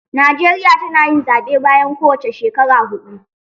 Najeriya tana yin zaɓe bayan kowance shekaru huɗu